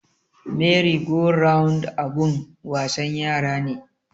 Meri go round abun wasan yara ne